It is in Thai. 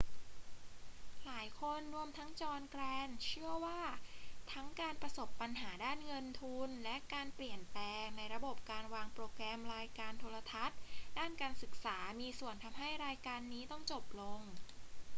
หลายคนรวมทั้งจอห์น แกรนท์เชื่อว่าทั้งการประสบปัญหาด้านเงินทุน และการเปลี่ยนแปลงในระบบการวางโปรแกรมรายการโทรทัศน์ด้านการศึกษามีส่วนทำให้รายการนี้ต้องจบลง